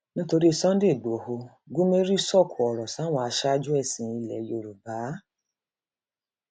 nítorí sunday igbodò gúmérì sọkò ọrọ sáwọn aṣáájú ẹsìn ilẹ yorùbá